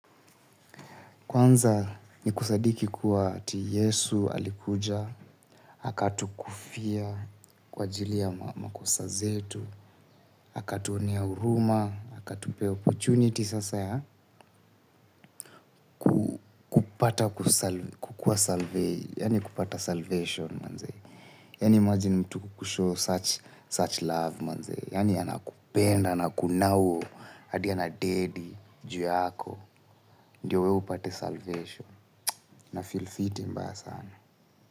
Kwanza ni kusadiki kuwa ati Yesu alikuja, akatukufia kwa ajili ya makosa zetu, akatuonea huruma, akatupea opportunity sasa ya kupata kukua salvee, yaani kupata salvation manze, yaani imagine mtu kukushow such love manze, yaani anakupenda, akunauwo, hadi anadedi juu yako, ndio wewe upate salvation. Nafeel fiti mbaya sana.